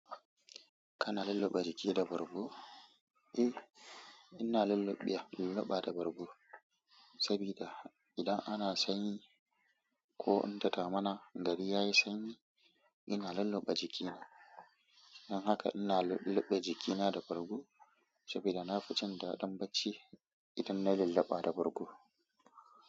Kana lulluɓe jiki da bargo? Eh, ina lulluɓewa lulluɓa da bargo saboda idan ana sanyi ko in da damuna gari ya yi sanyi, ina lulluɓe jikina. Don haka ina lulluɓe jikina da bargo saboda na fi jin daɗin bacci idan na lallaba da bargo.